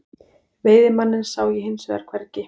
Veiðimanninn sá ég hins vegar hvergi.